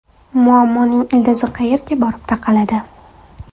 Muammoning ildizi qayerga borib taqaladi?